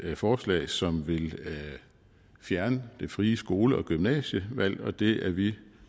forslag som vil fjerne det frie skole og gymnasievalg og det er vi